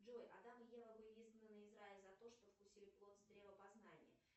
джой адам и ева были изгнаны из рая за то что вкусили плод с древа познания